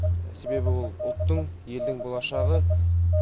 себебі ол ұлттың елдің болашағы